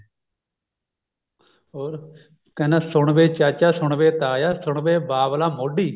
ਹੋਰ ਕਹਿੰਦਾ ਸੁਣ ਵੇ ਚਾਚਾ ਸੁਣ ਵੇ ਤਾਇਆ ਸੁਣ ਵੇ ਬਾਬਲਾ ਮੋਢੀ